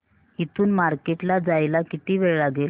इथून मार्केट ला जायला किती वेळ लागेल